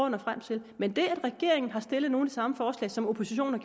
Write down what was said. at nå frem til men det at regeringen har stillet nogle samme forslag som oppositionen har